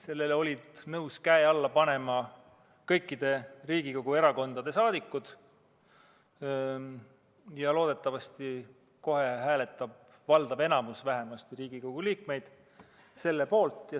Sellele olid nõus käe alla panema kõikide Riigikogu erakondade liikmed ja loodetavasti kohe hääletab ka valdav enamik Riigikogu liikmeid selle poolt.